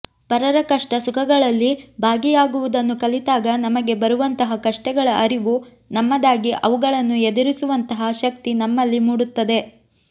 ಪರರ ಕಷ್ಟ ಸುಖಗಳಲ್ಲಿಭಾಗಿಯಾಗುವುದನ್ನು ಕಲಿತಾಗ ನಮಗೆ ಬರುವಂತಹ ಕಷ್ಟಗಳ ಅರಿವು ನಮ್ಮದಾಗಿ ಅವುಗಳನ್ನು ಎದುರಿಸುವಂತಹ ಶಕ್ತಿ ನಮ್ಮಲ್ಲಿಮೂಡುತ್ತದೆ